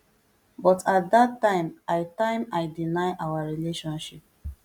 but at dat time i time i deny our relationship